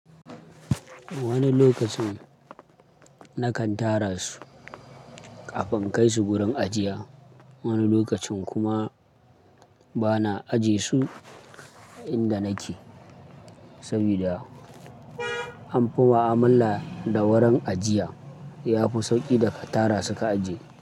Wani lokacin nakan tara su kafin in kai su wurin ajiye, wani lokacin kuma bana ajiye su inda nake saboda anfi ma'amala da wurin ajiya. Yafi sauki da ka tara suka ajiye.